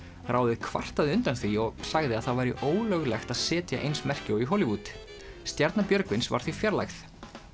ráðið kvartaði undan því og sagði að það væri ólöglegt að setja eins merki og í Hollywood stjarna Björgvins var því fjarlægð